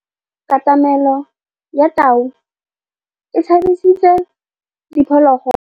Katamêlô ya tau e tshabisitse diphôlôgôlô.